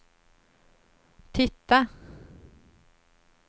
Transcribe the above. titta